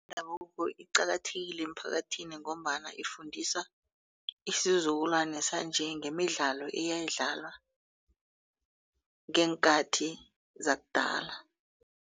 yendabuko iqakathekile emphakathini ngombana ifundisa isizukulwane sanje ngemidlalo eyayidlalwa ngeenkathi zakudala.